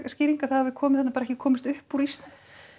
skýring að það hafi komið þarna en bara ekki komist upp úr ísnum